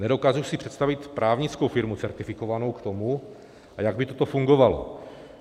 Nedokážu si představit právnickou firmu certifikovanou k tomu, a jak by toto fungovalo.